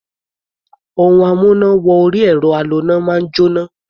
Ohun amúná-wọ-orí-ẹ̀rọ aloná máa ń jóná.